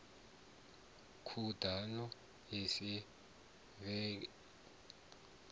khuḓano a i thivhelei sa